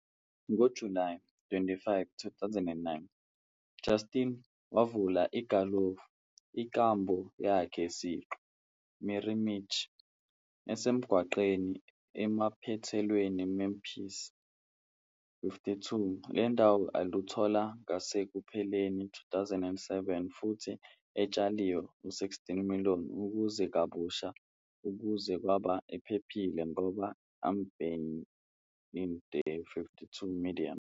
Ngo-July 25, 2009, Justin wavula igalofu inkambo yakhe siqu, Mirimichi, esemgwaqweni emaphethelweni Memphis.52 le ndawo aluthola ngasekupheleni 2007 futhi etshaliwe 16 million ukuze kabusha ukuze kwaba ephephile ngoba ambiente.52 medium